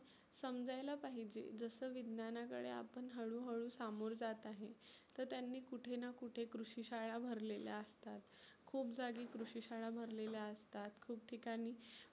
समजायला पाहीजे जसं विज्ञानाकडे आपण हळु हळु सामोर जात आहे. तर त्यांनी कुठेना कुठे कृषी शाळा भरलेल्या असतात. खुप जागी कृषी शाळा भरलेल्या असतात, खुप ठिकानी